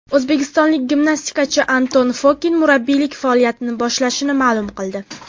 O‘zbekistonlik gimnastikachi Anton Fokin murabbiylik faoliyatini boshlashini ma’lum qildi.